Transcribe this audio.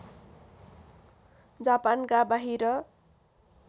जापानका बाहिर